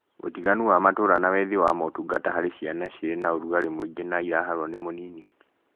Ũtiganu wa matũra na wethi wa motungata harĩ ciana cirĩ na ũrugarĩ mũingi na iraharwo nĩ mũnini